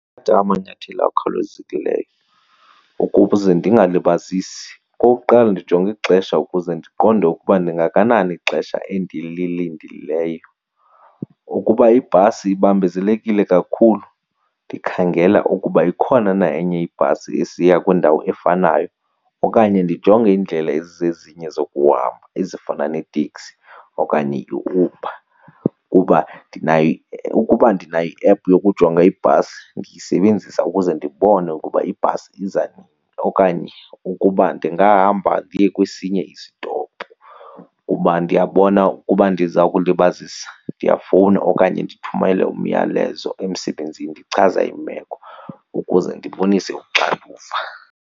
amanyathelo akhawulezekileyo ukuze ndingalibazisi. Okokuqala ndijonga ixesha ukuze ndiqonde ukuba ndingakanani ixesha endililindeleyo. Ukuba ibhasi ibambezelekile kakhulu, ndikhangela ukuba ikhona na enye ibhasi esiya kwindawo efanayo okanye ndijonge iindlela ezizezinye zokuhamba ezifana neeteksi okanye iUber. Kuba ukuba ndinayo i-app yokujonga ibhasi ndiyisebenzisa ukuze ndibone ukuba ibhasi iza nini okanye ukuba ndingahamba ndiye kwesinye isitopu. Uba ndiyabona ukuba ndiza kulibazisa ndiyafowuna okanye ndithumele umyalezo emsebenzini ndichaza imeko ukuze ndibonise uxanduva.